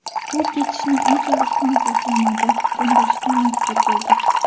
U ketishni unchalik ham xohlamadi, ko‘ndirishga majbur bo‘ldik.